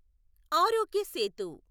ఆరోగ్య సేతు